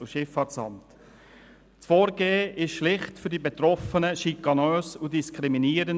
Das Vorgehen ist für die Betroffenen schlicht schikanös und diskriminierend.